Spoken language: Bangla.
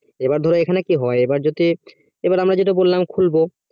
এবার ধরো এখানে কি হয় এবার যদি এবার আমরা যেটা বললাম খুলবো